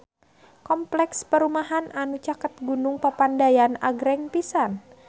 Kompleks perumahan anu caket Gunung Papandayan agreng pisan